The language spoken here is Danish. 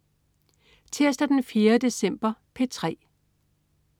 Tirsdag den 4. december - P3: